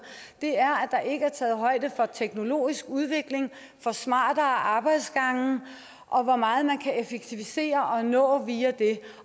er teknologisk udvikling smartere arbejdsgange og hvor meget man kan effektivisere og nå via det